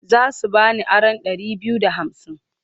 Za su ba ni aron ɗari biyu da hamsin.